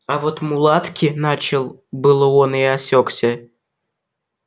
а вот мулатки начал было он и осекся